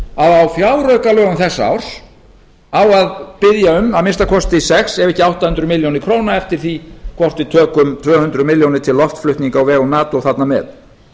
að á fjáraukalögum þessa árs þá á að biðja um að minnsta kosti sex ef ekki átta hundruð milljóna króna eftir því hvort við tökum tvö hundruð milljónir til loftflutninga á vegum nato þarna með